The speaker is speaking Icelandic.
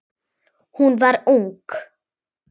Hún var ung.